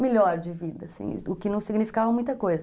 melhor de vida, assim, o que não significava muita coisa.